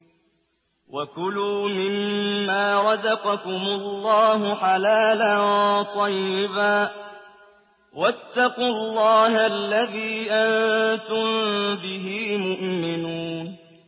وَكُلُوا مِمَّا رَزَقَكُمُ اللَّهُ حَلَالًا طَيِّبًا ۚ وَاتَّقُوا اللَّهَ الَّذِي أَنتُم بِهِ مُؤْمِنُونَ